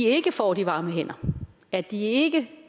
ikke får de varme hænder at de ikke